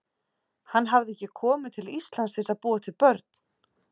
Hann hafði ekki komið til Íslands til að búa til börn.